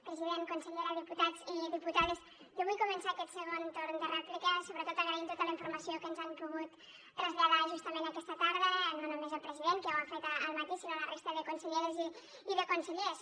president consellera diputats i diputades jo vull començar aquest segon torn de rèplica sobretot agraint tota la informació que ens han pogut traslladar justament aquesta tarda no només el president que ja ho ha fet al matí sinó la resta de conselleres i de consellers